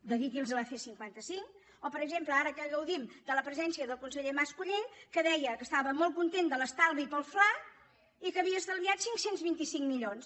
dediqui’ls a la c cinquanta cinc o per exemple ara que gaudim de la presència del conseller mascolell que deia que estava molt content de l’estalvi pel fla i que havia estalviat cinc cents i vint cinc milions